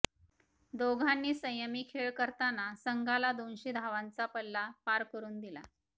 दोघांनी संयमी खेळ करताना संघाला दोनशे धावांचा पल्ला पार करून दिला